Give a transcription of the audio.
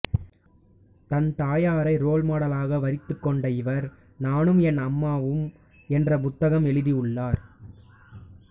தன் தாயாரை ரோல் மாடலாக வரித்துக்கொண்ட இவர் நானும் என் அம்மாவும் என்ற புத்தகம் எழுதியுள்ளார்